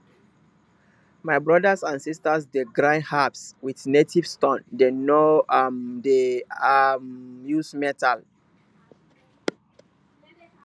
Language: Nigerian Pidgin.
my brothers and sisters dey grind herbs with native stone dem no um dey um use metal